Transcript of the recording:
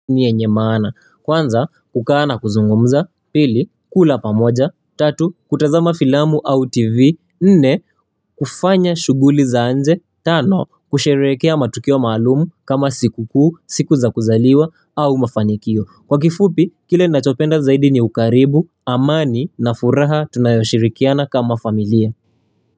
Yenye maana kwanza kukaa na kuzungumza pili kula pamoja tatu kutazama filamu au tv nne kufanya shuguli za nje tano kusherekea matukio malumu kama siku kuu siku za kuzaliwa au mafanikio kwa kifupi kile ninachopenda zaidi ni ukaribu amani na furaha tunayoshirikiana kama familia.